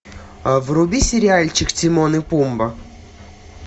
вруби сериальчик тимон и пумба